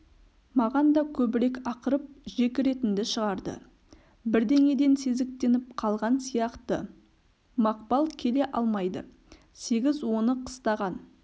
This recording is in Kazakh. маған да көбірек ақырып жекіретінді шығарды бірдеңеден сезіктеніп қалған сияқты мақпал келе алмайды сегіз оны қыстаған